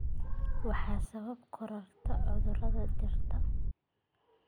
Waxay sababtaa kororka cudurrada dhirta.